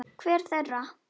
Hver þeirra?